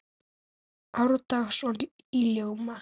árdags í ljóma